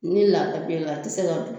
Ni la la a tɛ se ka don